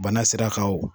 Bana sira kan wo